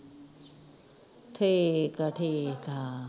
ਠੀਕ ਆ ਠੀਕ ਆ